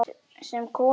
Sem koma.